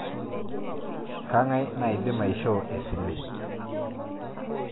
Kang'ae naidim aishoo esile?